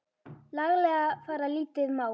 laglega fara lítið má.